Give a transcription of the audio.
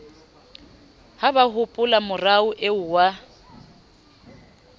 ha ba hopolamora eo wa